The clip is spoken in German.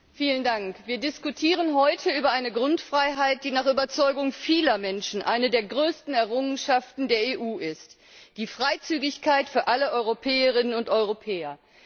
Herr Präsident! Wir diskutieren heute über eine Grundfreiheit, die nach Überzeugung vieler Menschen eine der größten Errungenschaften der EU ist Die Freizügigkeit für alle Europäerinnen und Europäer.